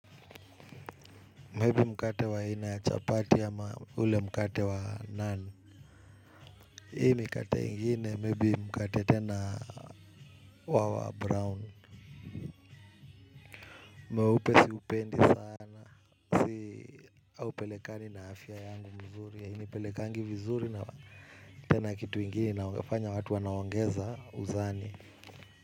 Maybe mkate wa aina ya chapati ama ule mkate wa nun. Hii mkate ingine maybe mkate tena wa brown. Mweupe siupendi sana haupelekani na afya yangu mzuri. Hainipelekangi vizuri na tena kitu ingine inafanya watu wanaongeza uzani.